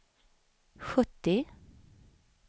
sjuttio